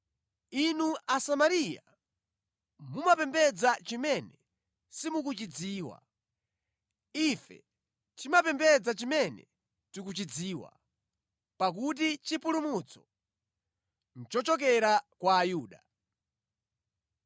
Inu Asamariya mumapembedza chimene simukuchidziwa. Ife timapembedza chimene tikuchidziwa, pakuti chipulumutso nʼchochokera kwa Ayuda.